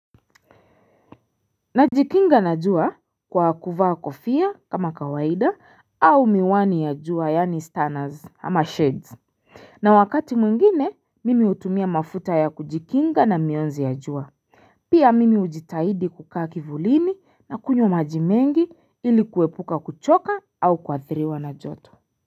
Najikinga na jua kwa kuvaa kofia kama kawaida au miwani ya jua yani stanners ama sheds na wakati mwingine mimi hutumia mafuta ya kujikinga na mionzi ya jua Pia mimi ujitahidi kukaa kivulini na kunywa majimengi ili kuwepuka kuchoka au kuathiriwa na joto.